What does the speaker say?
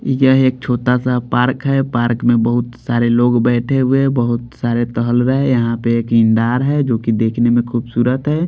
यह एक छोटा सा पार्क है पार्क में बहुत सारे लोग बैठ हुए हैं बहुत सारे टहल रहे हैं यहाँ पे एक ये नहर है जोकि देखने में खूबसूरत है।